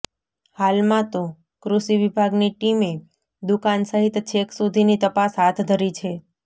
હાલમાં તો કૃષિ વિભાગની ટીમે દુકાન સહિત છેક સુધીની તપાસ હાથ ધરી છે